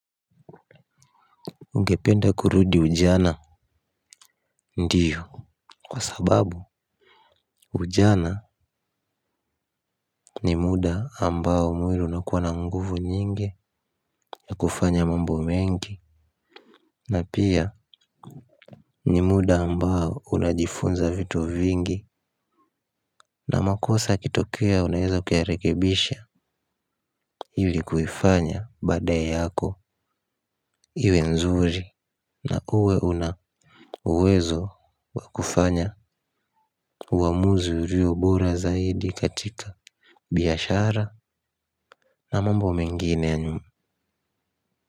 Ungependa kurudi ujana? Ndio kwa sababu ujana ni muda ambao mwili unakuwa na nguvu nyingi. Na kufanya mambo mengi. Na pia ni muda ambao unajifunza vitu vingi. Na makosa yakitokea unaweza kuyarekebisha ili kuifanya bada yako iwe nzuri. Na uwe una uwezo wa kufanya uamuzi urio bora zaidi katika biashara. Na mambo mrnginr ya nyu.